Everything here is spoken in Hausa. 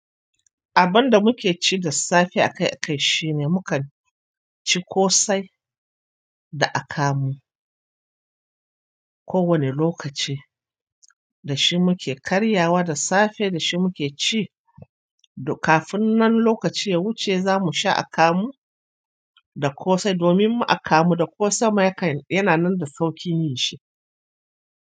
Abinda muke ci da safe a kai a kai shine mukan ci ƙosai da akamu. Kowani lokaci da shi muke karyawa da safe da shi muke ci kafin nan lokaci ya wuce zamusha akamu da ƙosai domin akamu da ƙosan ma yananan da sauƙin shi.